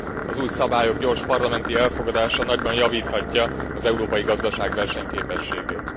Az új szabályok gyors parlamenti elfogadása nagyban javíthatja az európai gazdaság versenyképességét.